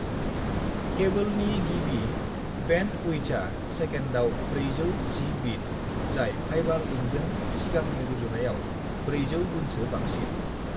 "केबोलनि गिबि बेन्डउइड्थआ सेकेन्दआव 400 जि बिट, जाय फाइबार लिंजों सिगांनि रुजुनायाव 400 गुनसो बांसिन।"